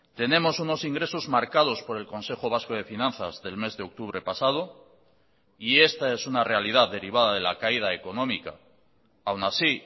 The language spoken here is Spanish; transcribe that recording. tenemos unos ingresos marcados por el consejo vasco de finanzas del mes de octubre pasado y esta es una realidad derivada de la caída económica aun así